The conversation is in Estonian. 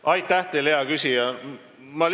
Aitäh teile, hea küsija!